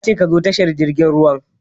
Ya ce "Ka zo tashar jirgin ruwan"!